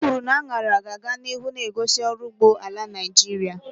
Okwuru na añara ga-aga n'ihu na-egosi ọrụ ugbo ala Naijiria.